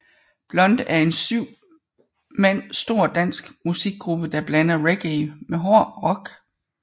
Blunt er en syv mand stor dansk musikgruppe der blander reggae med hård rock